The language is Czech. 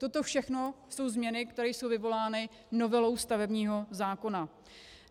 Toto všechno jsou změny, které jsou vyvolány novelou stavebního zákona.